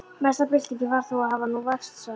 Mesta byltingin var þó að hafa nú vatnssalerni.